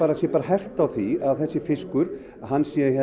sé hert á því að þessi fiskur sé